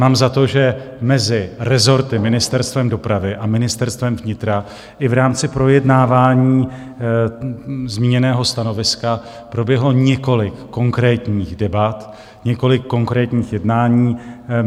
Mám za to, že mezi rezorty Ministerstvem dopravy a Ministerstvem vnitra i v rámci projednávání zmíněného stanoviska proběhlo několik konkrétních debat, několik konkrétních jednání.